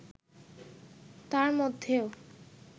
তার মধ্যেও